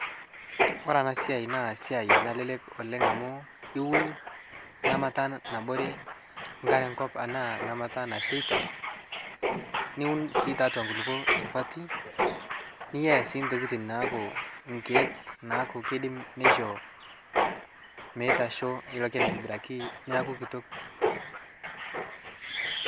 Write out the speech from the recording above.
kore ana siai naa siai nalelek oleng amu iwun nghamata nabore nkare nkop anaa nghamata nasheita niwun sii taatua nkulipo supati niyaa sii ntokitin naaku nkek naaku keidim neisho meitasho ilo keni aitibiraki neaku kitok